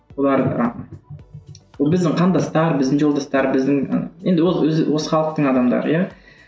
олар ы біздің қандастар біздің жолдастар біздің ы енді ол өзі осы халықтың адамдары иә